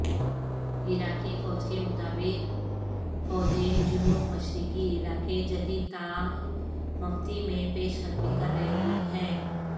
عراقی فوجکے مطابق فوجیں جنوب مشرقی علاقے جدیدتالمفتی میں پیش قدمی کر رہی ہیں